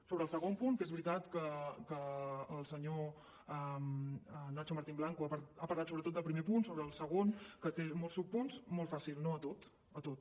sobre el segon punt que és veritat que el senyor nacho martín blanco ha parlat sobretot del primer punt sobre el segon que té molts subpunts molt fàcil no a tot a tot